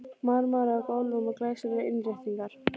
Marmari á gólfum og glæsilegar innréttingar.